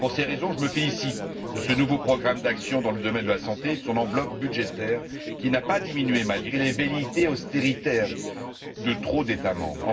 Pour ces raisons, je me félicite de ce nouveau programme d'action dans le domaine de la santé et de son enveloppe budgétaire, qui n'a pas diminué malgré les velléités d'austérité de trop d'États membres.